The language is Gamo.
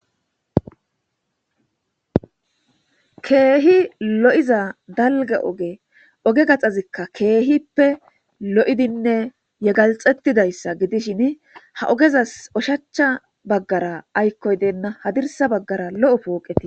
Keehi lo'iza dalgge oge oge gaxazikka keehippe lo'idinne yegalxettidayssa gidishin ha ogezas oshacha baggara aykkoy deenna hadirsa baggara lo'o pooqetii